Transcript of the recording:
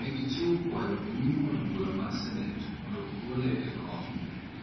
Ne gichiwo kwayo e nyim od Bura mar Senet mondo ogole e kom.